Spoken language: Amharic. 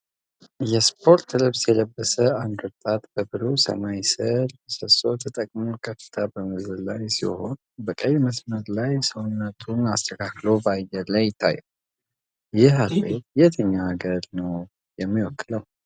የስፖርት ልብስ የለበሰ አንድ ወጣት፣ በብሩህ ሰማያዊ ሰማይ ስር፣ ምሰሶ ተጠቅሞ ከፍታ በመዝለል ላይ ሲሆን፣ በቀይ መስመር ላይ ሰውነቱን አስተካክሎ በአየር ላይ ይታያል። ይህ አትሌት የትኛው ሀገር ነው የሚወክለው?